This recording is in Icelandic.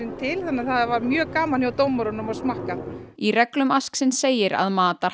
til þannig að það var mjög gaman hjá dómurunum að smakka í reglum segir að